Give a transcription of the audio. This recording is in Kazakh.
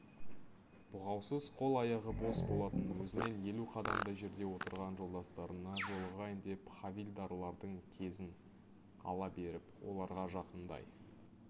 бұғаусыз қол-аяғы бос болатын өзінен елу қадамдай жерде отырған жолдастарына жолығайын деп хавильдарлардың кезін ала беріп оларға жақындай